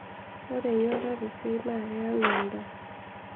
ore enyuata tesiai naa keyau endaa